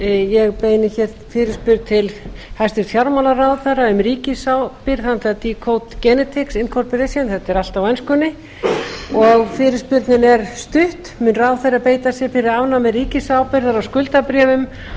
ég beini hér fyrirspurn til hæstvirts fjármálaráðherra um ríkisábyrgð handa decode genetics inc þetta er allt á enskunni og fyrirspurnin er stutt mun ráðherra beita sér fyrir afnámi ríkisábyrgðar á skuldabréfum